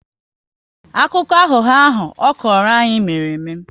Akụkọ aghụghọ ahụ ọ kọrọ anyị mere eme